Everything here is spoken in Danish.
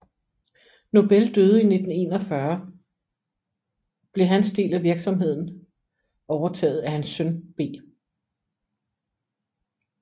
Nobel døde i 1941 blev hans del af virksomheden overtaget af hans søn B